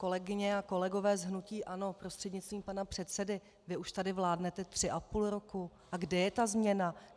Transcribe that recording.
Kolegyně a kolegové z hnutí ANO prostřednictvím pana předsedy, vy už tady vládnete tři a půl roku - a kde je ta změna?